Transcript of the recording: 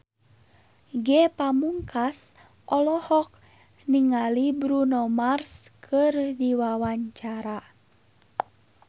Ge Pamungkas olohok ningali Bruno Mars keur diwawancara